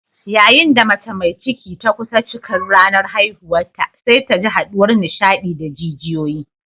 Yayin da mace mai ciki ta kusa cikar ranar haihuwarta sai ta ji haduwar nishadi da jijiyoyi.